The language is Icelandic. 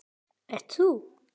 Ert þú?